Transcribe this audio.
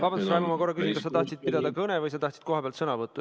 Vabandust, Raivo, ma korra küsin, kas sa tahad pidada kõnet või sa tahad kohapealt sõna võtta.